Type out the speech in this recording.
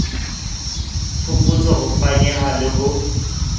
phokotso ho fanyehwa le ho